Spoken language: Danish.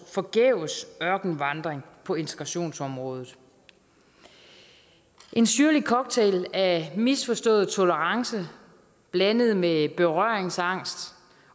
ørkenvandring på integrationsområdet en syrlig cocktail af misforstået tolerance blandet med berøringsangst